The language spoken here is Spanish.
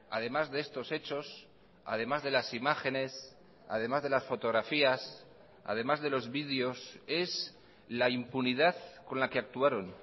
además de estos hechos además de las imágenes además de las fotografías además de los videos es la impunidad con la que actuaron